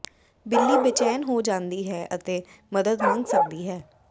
ਬਿੱਲੀ ਬੇਚੈਨ ਹੋ ਜਾਂਦੀ ਹੈ ਅਤੇ ਮਦਦ ਮੰਗ ਸਕਦੀ ਹੈ